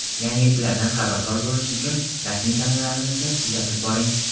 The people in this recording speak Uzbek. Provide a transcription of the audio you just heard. Yangiliklardan xabardor bo‘lish uchun rasmiy kanallarimizni kuzatib boring.